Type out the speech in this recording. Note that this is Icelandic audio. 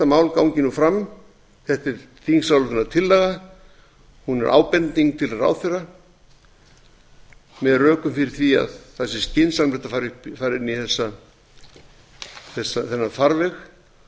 mál gangi nú fram þetta er þingsályktunartillaga hún er ábending til ráðherra með rökum fyrir því að það sé skynsamlegt að fara inn í þennan farveg